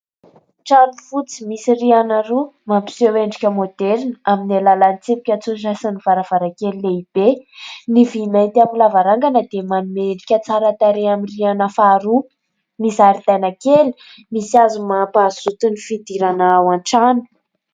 Trano fotsy misy rihana roa mampiseho endrika moderina amin'ny alalan'ny sasiny varavarankely lehibe ny vimaitiampo lavarangana dia manomerika tsara tarehaminry ana faharoa ny zaridaina kely misy azo mahampahazoso toy ny fidirana ao an-trano